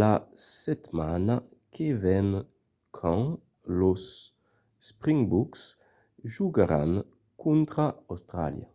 la setmana que ven quand los springboks jogaràn contra austràlia